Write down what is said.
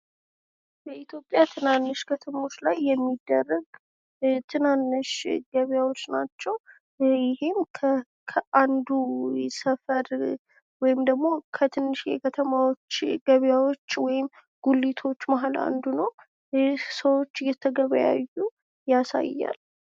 በኢትዮጵያ ትናንሽ ከተማዎች ላይ የሚደረግ ትናንሽ ገበያዎች ናቸው። ይህም ደግሞ ከአንዱ ሰፈር ወይም ደግሞ ከትንሽዬ ከተማዎች፣ ገበያዎች ወይም ጉሊቶች መካከል አንዱ ነው። ይህ ሰዎች እየተገበያዩ ያሳያል።